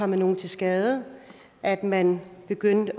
nogen til skade at man begyndte